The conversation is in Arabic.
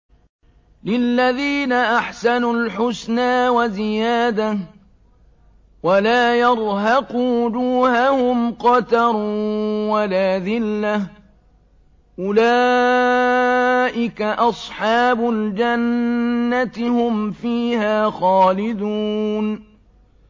۞ لِّلَّذِينَ أَحْسَنُوا الْحُسْنَىٰ وَزِيَادَةٌ ۖ وَلَا يَرْهَقُ وُجُوهَهُمْ قَتَرٌ وَلَا ذِلَّةٌ ۚ أُولَٰئِكَ أَصْحَابُ الْجَنَّةِ ۖ هُمْ فِيهَا خَالِدُونَ